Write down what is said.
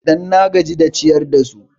Dan na gaji da ciyar da su